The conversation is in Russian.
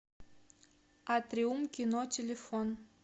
атриум кино телефон